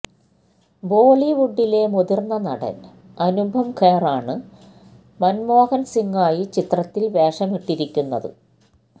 ബോളിവുഡിലെ മുതിർന്ന നടൻ അനുപം ഖേറാണ് മന്മോഹൻ സിംഗായി ചിത്രത്തിൽ വേഷമിട്ടിരിക്കുന്നത്